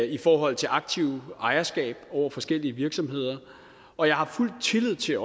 i forhold til aktivt ejerskab over forskellige virksomheder og jeg har fuld tillid til at